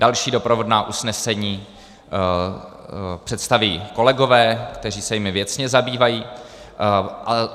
Další doprovodná usnesení představí kolegové, kteří se jimi věcně zabývají.